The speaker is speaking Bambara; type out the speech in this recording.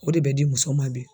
O de bɛ di muso ma bi